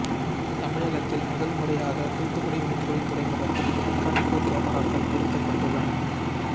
தமிழகத்தில் முதன் முறையாக தூத்துக்குடி மீன்பிடித் துறைமுகத்தில் கண்காணிப்பு கேமராக்கள் பொறுத்தப்பட்டுள்ளன